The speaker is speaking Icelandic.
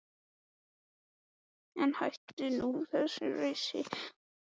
En hættu nú þessu rausi lambið mitt.